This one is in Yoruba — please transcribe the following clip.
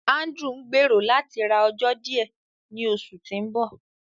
Ándrew n gbẹ̀rọ̀ látí rá ọ̀jọ̀ díẹ̀ ní oṣù tí n bọ.